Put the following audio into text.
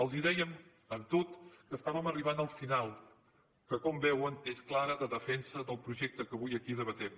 els dèiem amb tot que estàvem arribant al final que com veuen és clara defensa del projecte que avui aquí debatem